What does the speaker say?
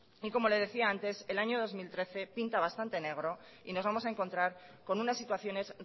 y como le decía antes el año dos mil trece pinta bastante negro y nos vamos a encontrar con unas situaciones